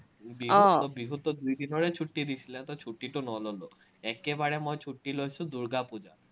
বিহুততো দুই দিনৰে ছুট্টি দিছিলে, তো ছুট্টিটো নললো। একেবাৰে মই ছুট্টি লৈছো দূৰ্গাপুজাত